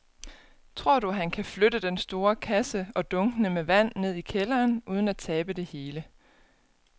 Tror du, at han kan flytte den store kasse og dunkene med vand ned i kælderen uden at tabe det hele?